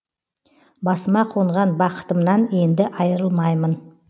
басыма қонған бақытымнан енді айырылмаймын